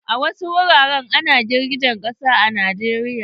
A wasu wuraren ana girgijen ƙasa a Najeriya.